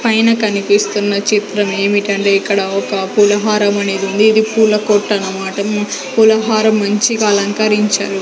పైన కనిపిస్తున్న చిత్రం ఏమిటంటే ఇక్కడ ఒక పూలహారమనేది ఉంది ఇది పూల కొట్టు అనమాట పూలహారం మంచిగా అలంకరించారు.